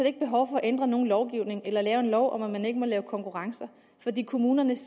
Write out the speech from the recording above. ikke behov for at ændre nogen lovgivning eller lave en lov om at man ikke må lave konkurrencer fordi kommunerne